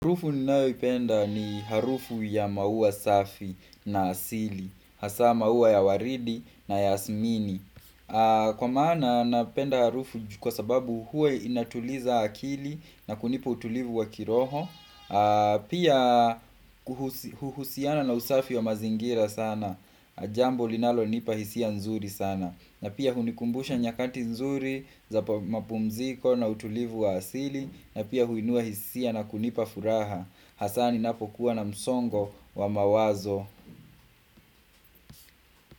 Harufu ninao ipenda ni harufu ya maua safi na asili Hasa maua ya waridi na yasmini Kwa maana napenda harufu kwa sababu huwa inatuliza akili na kunipa utulivu wa kiroho Pia kuhusiana na usafi wa mazingira sana Jambo linalo nipa hisia nzuri sana na pia hunikumbusha nyakanti nzuri za mapumziko na utulivu wa asili na pia huinua hisia na kunipa furaha Hasa ninapokuwa na msongo wa mawazo.